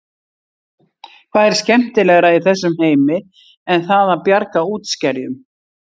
Hvað er skemmtilegra í þessum heimi en það að bjarga útskerjum?